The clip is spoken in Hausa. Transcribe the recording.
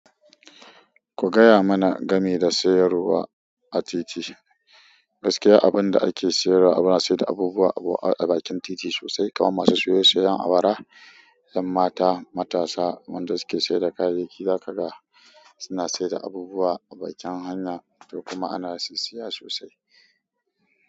Ku gaya mana game da sayarwa a titi. Gaskiya, abin da ake siyarwa ana siyar da abubuwa a bakin titi sosai kamar masu saye-sayan awara, ƴan mata, matasa, wanda suke siyar da kayayyaki za kaga. Ana saida abubuwa a bakin hanya to kuma ina sisiya sosai.